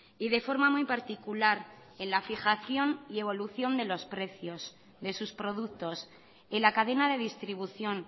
y de forma muy particular en la fijación y evolución de los precios de sus productos en la cadena de distribución